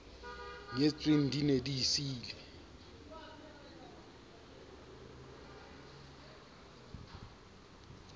nyetsweng di ne di siile